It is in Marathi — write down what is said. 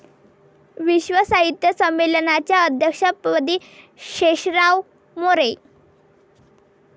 विश्व साहित्य संमेलनाच्या अध्यक्षपदी शेषराव मोरे